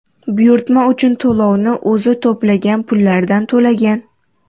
Buyurtma uchun to‘lovni o‘zi to‘plagan pullardan to‘lagan.